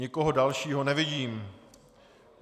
Nikoho dalšího nevidím.